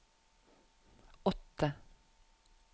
åtte